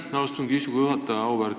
Aitäh, austatud istungi juhataja!